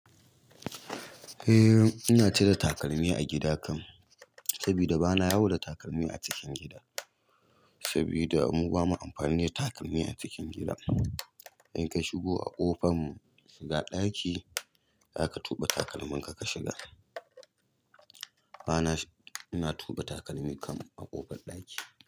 Eh ina cire takalmi a gida kam, sabida bana yawo da takalmi a cikin gida, sabida mu bamu amfani da takalmi a cikin gida. Inka shigo a ƙofan shiga ɗaki, zaka tuba takalmin ka kashiga. Bana, ina tuɓe takalmi kam a ƙofar ɗaki.